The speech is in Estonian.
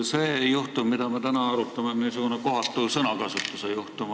See juhtum, mida me täna arutame, on kohatu sõnakasutuse juhtum.